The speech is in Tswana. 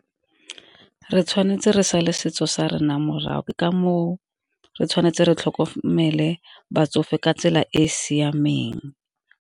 Re tshwanetse re sale setso sa rena morago ke ka moo, re tshwanetse re tlhokomele batsofe ka tsela e e siameng.